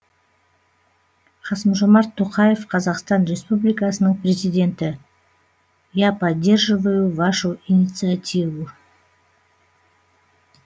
қасым жомарт тоқаев қазақстан республикасының президенті я поддерживаю вашу инициативу